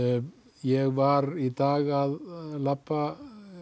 ég var í dag að labba